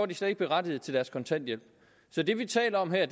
de slet ikke berettiget til deres kontanthjælp så det vi taler om her